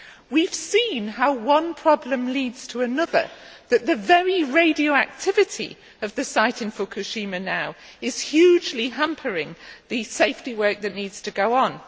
We have seen how one problem leads to another, and that the very radioactivity of the site in Fukushima now is hugely hampering the safety work which needs to go on.